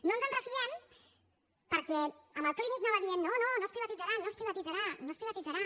no ens en refiem perquè amb el clínic anava dient no no no es privatitzarà no es privatitzarà no es privatitzarà